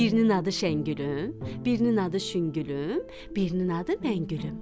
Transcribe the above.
Birinin adı Şəngülüm, birinin adı Şüngülüm, birinin adı Məngülüm.